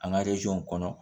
An ka kɔnɔ